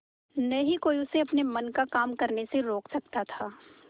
न ही कोई उसे अपने मन का काम करने से रोक सकता था